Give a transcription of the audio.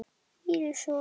Íris og